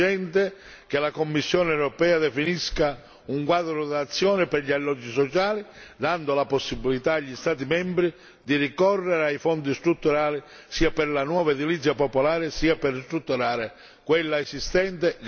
È urgente che la Commissione europea definisca un quadro d'azione per gli alloggi sociali dando la possibilità agli Stati membri di ricorrere ai fondi strutturali, sia per la nuova edilizia popolare sia per tutelare quella esistente.